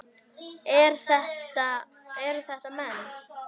Eru þetta menn?